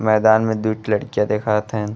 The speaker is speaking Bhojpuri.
मैदान में दुइ ठे लड़कियाँ देखावत हइन।